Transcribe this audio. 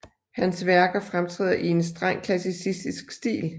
Hans værker fremtræder i en streng klassicistisk stil